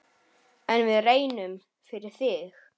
En við reynum, fyrir þig.